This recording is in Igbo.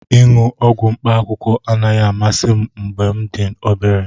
Ịṅụ ọgwụ mkpaakwụkwọ anaghị amasị m mgbe m dị obere